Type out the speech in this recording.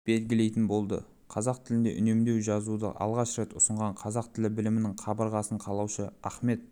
белгілейтін болды қазақ тілінде үнемдеу жазуды алғаш рет ұсынған қазақ тілі білімінің қабырғасын қалаушы ахмет